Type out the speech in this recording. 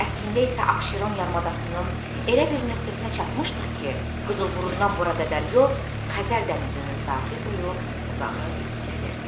Əslində isə Abşeron yarımadasının elə bir nöqtəsinə çatmışdıq ki, Qızılburundan bura qədər yol Xəzər dənizinin sahili boyu uzanıb gəlirdi.